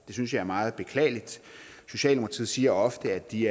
synes jeg er meget beklageligt socialdemokratiet siger ofte at de